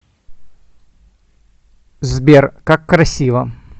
сбер как красиво